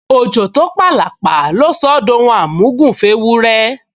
Òjò tó p’àlàpà ló sọ ọ́ d’ohun àmúgùn f’éwúrẹ́